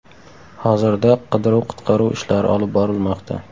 Hozirda qidiruv−qutqaruv ishlari olib borilmoqda.